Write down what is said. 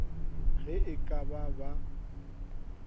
ge e ka ba ba